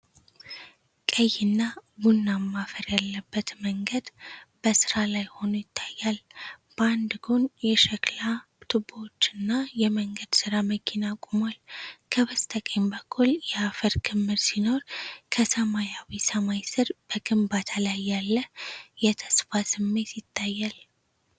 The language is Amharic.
ቀይና ቡናማ አፈር ያለበት መንገድ በሥራ ላይ ሆኖ ይታያል። በአንድ ጎን የሸክላ ቱቦዎችና የመንገድ ሥራ መኪና ቆሟል። ከበስተቀኝ በኩል የአፈር ክምር ሲኖር፣ ከሰማያዊ ሰማይ ስር በግንባታ ላይ ያለ የተስፋ ስሜት ይታያል።